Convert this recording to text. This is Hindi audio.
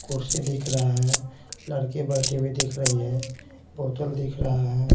कुर्सी दिख रहा है लड़की बैठी हुई दिख रही है बोतल दिख रहा है।